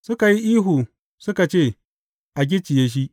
Suka yi ihu, suka ce, A gicciye shi!